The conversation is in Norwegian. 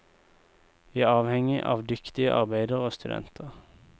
Vi er avhengig av dyktige arbeidere og studenter.